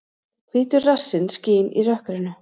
Hvítur rassinn skín í rökkrinu.